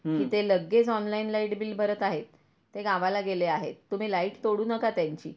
कि ते लगेच ऑनलाइन लाईट बिल भरत आहेत ते गावाला गेले आहेत तुम्ही लाईट तोडू नका त्यांची.